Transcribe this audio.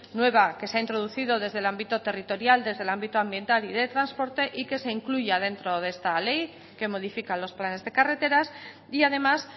nueva que se ha introducido desde el ámbito territorial desde el ámbito ambiental y de transporte y que se incluya dentro de esta ley que modifica los planes de carreteras y además